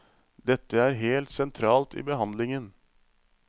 Dette er helt sentralt i behandlingen.